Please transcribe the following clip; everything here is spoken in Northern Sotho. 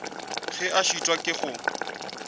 ge a šitwa ke go